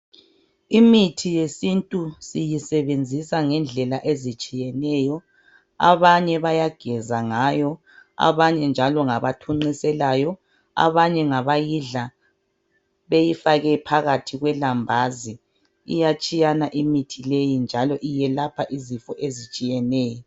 Imithi yesintu siyisebenzisa ngendlela ezitshiyeneyo. Abanye bayageza ngayo abanye njalo ngabathunqiselayo abanye ngaba yidla beyifake phakathi kulambazi. Iyatshiyana imithi leyi njalo iyelapha izifo ezietshiyetshiyeneyo.